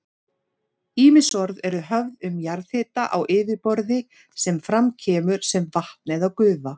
Ýmis orð eru höfð um jarðhita á yfirborði sem fram kemur sem vatn eða gufa.